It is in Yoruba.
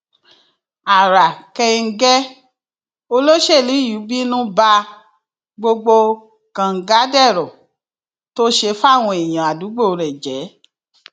ara kẹńgẹ olóṣèlú yìí bínú ba gbogbo kàngadèrò tó ṣe fáwọn èèyàn àdúgbò rẹ jẹ